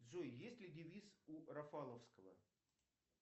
джой есть ли девиз у рафаловского